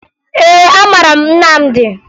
Ee, amara m Nnamdi